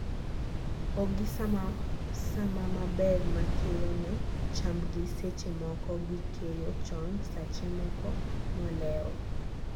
o gi sama maber ma keyo ne chamb gi seche moko gikeyo chon sache moko molewo